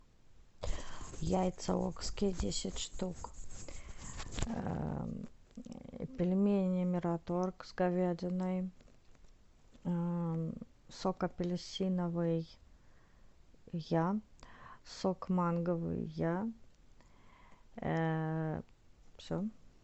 яйца окские десять штук пельмени мираторг с говядиной сок апельсиновый я сок манговый я все